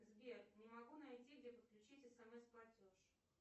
сбер не могу найти где подключить смс платеж